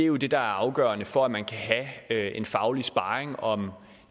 jo er det der er afgørende for at man kan have en faglig sparring om